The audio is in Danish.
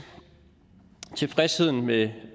tilfredsheden med